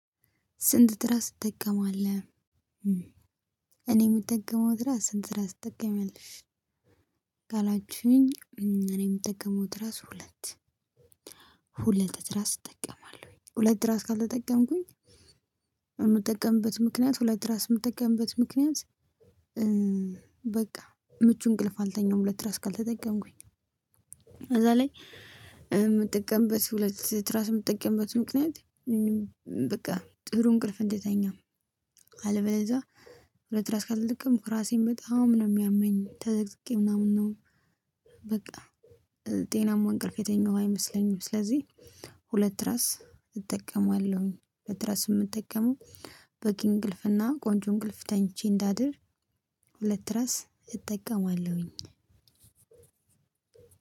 ስንት ትራስ ትጠቀማለህ እኔ ምጠቀመው ትራስ ስንት ትራስ ትጠቀሚያለሽ? ካላችሁኝ እኔ ምጠቀመው ትራስ ሁለት ሁለት ትራስ እጠቀማለሁኝ ሁለት ትራስ ካልተጠቀምኩኝ የምጠቀምበት ምክንያት ሁለት ትራስ የምጠቀምበት ምክንያት። በቃ ምቹ እንቅልፍ አልተኛሁም ሁለት ትራስ ካልተጠቀምኩኝ በዛ ላይ ምትጠቀምበት ሁለት ትራስ የምትጠቀምበት ምክንያት። በቃ ጥሩ እንቅልፍ እንድተኛ አለበለዛ ሁለት ትራስ ካልተጠቀምኩ እራሴን በጣም ነው የሚያመኝ ተዘቅዝቄ ምናምን ነው። በቃ ጤናማ እንቅልፍ የተኛው አይመስለኝም ስለዚህ ሁለት ትራስ እጠቀማለሁኝ። ሁለት ትራስ ምጠቀመው በቂ እንቅልፍ እና ቆንጆ እንቅልፍ ተኝቼ እንዳድር ሁለት ትራስ እጠቀማለሁኝ።